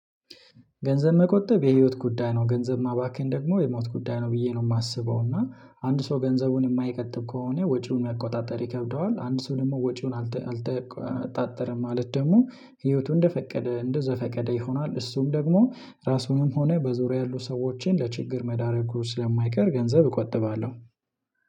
ገንዘብ መቆጠብ የህይወት ጉዳይ ነው። ገንዘብ ማባከን ደግሞ የሞት ጉዳይ ነው ብዬ ነው የማስበው። እና አንድ ሰው ገንዘቡን የማይበቆጥብ ከሆነ ወጪውን መቆጣጠር ይከብደዋል። አንድ ሰው ደግሞ ወጪውን አልተቆጣጠረም ማለት ደግሞ ህይወቱ እንደፈቀደ እንደዘፈቀደ ይሆናል። እሱም ደግሞ ራሱንም ሆነ በዙሪያ ያሉ ሰዎችን ለችግር መዳረግ ስለማይቀር። ገንዘብ እቆጥባለሁ